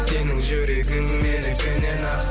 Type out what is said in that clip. сенің жүрегің менікінен ақ